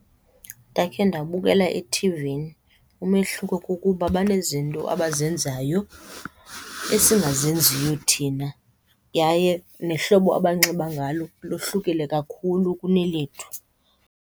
Ndakhe ndabukela ethivini, umehluko kukuba banezinto abazenzayo esingazenziyo thina. Yaye nehlobo abanxiba ngalo lohlukile kakhulu kunelethu.